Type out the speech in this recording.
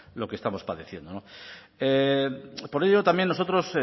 lo que estamos padeciendo por ello también nosotros